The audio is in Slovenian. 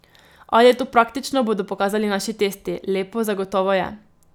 Ali je to praktično, bodo pokazali naši testi, lepo zagotovo je.